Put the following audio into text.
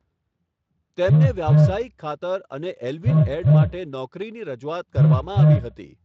તેમને વ્યવસાયિક ખાતર અને એલ્વિન એડ માટે નોકરીની રજૂઆત કરવામાં આવી હતી.